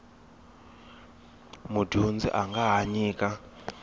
mudyondzi a nga ha nyika